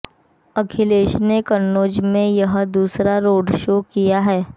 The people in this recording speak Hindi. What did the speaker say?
अखिलेश ने कन्नौज में यह दूसरा रोडशो किया है